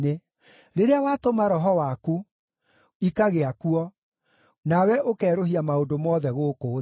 Rĩrĩa watũma Roho waku, ikagĩa kuo, nawe ũkerũhia maũndũ mothe gũkũ thĩ.